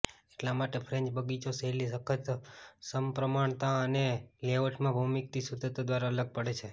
એટલા માટે ફ્રેન્ચ બગીચો શૈલી સખત સમપ્રમાણતા અને લેઆઉટમાં ભૌમિતિક શુદ્ધતા દ્વારા અલગ પડે છે